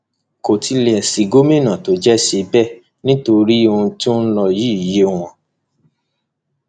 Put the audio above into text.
kò tilẹ sí gómìnà tó jẹ ṣe bẹẹ nítorí ohun tó ń lọ yìí yé wọn